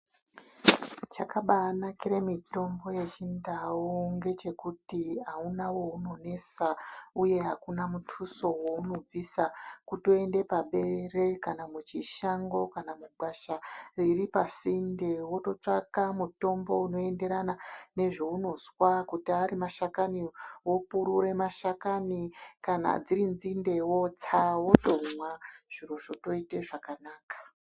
Chakabanakira mitombo yechindau ngechekuti auna we unonesa uye akuna mutuso weunobvisa. Kutoenda paberere, kana muchishango kana mugwasha riri pasinde wototsvaka mutombo unoenderana nezveunozwa. Kuti ari mashakani, wopurura mashakani. Kana dziri nzinde wotsa, wotomwa zviro zvotoita zvakanaka.